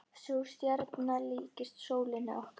Sú stjarna líkist sólinni okkar.